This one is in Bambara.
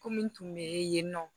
Ko min tun bɛ yen nɔ